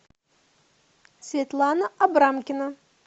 светлана абрамкина